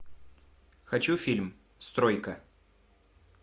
хочу фильм стройка